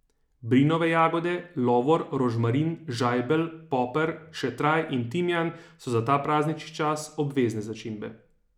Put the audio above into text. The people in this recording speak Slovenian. Brinove jagode, lovor, rožmarin, žajbelj, poper, šetraj in timijan so za ta praznični čas obvezne začimbe.